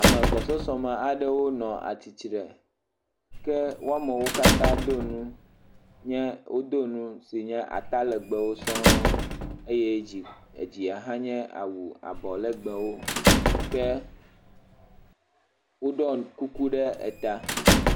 Ame gbɔsɔsɔ me aɖewo nɔ atsitre. Ke wo amewo katã do nu. Wodo nu si nye atalegbewo sɔŋ eye dzi edzia ha nye awu abɔlegbewo ke woɖɔ ŋu kuku ɖe eta.